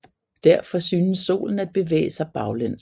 Derfor synes Solen at bevæge sig baglæns